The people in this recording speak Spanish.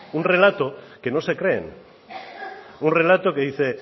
un relato que no se creen un relato que dice